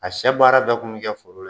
A sɛ baara bɛɛ kun bɛ kɛ foro la